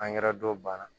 don banna